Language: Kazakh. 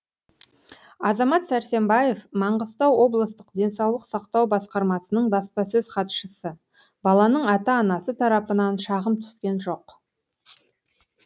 азамат сәрсенбаев маңғыстау облыстық денсаулық сақтау басқармасының баспасөз хатшысы баланың ата анасы тарапынан шағым түскен жоқ